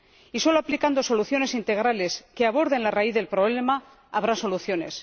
y solo aplicando medidas integrales, que aborden la raíz del problema, habrá soluciones.